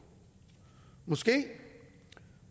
måske